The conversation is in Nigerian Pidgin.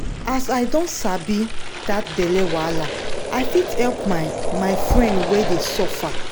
as i don sabi that belle wahala i fit help my my friend wey dey suffer.